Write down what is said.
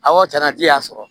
Awɔ cɛn na ji y'a sɔrɔ